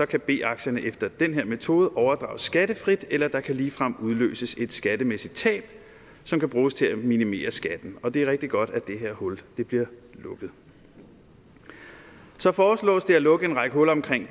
kan b aktierne efter den her metode overdrages skattefrit eller der kan ligefrem udløses et skattemæssigt tab som kan bruges til at minimere skatten og det er rigtig godt at det her hul bliver lukket så foreslås det at lukke en række huller om gæld